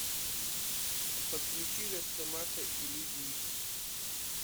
подключи росомаха и люди икс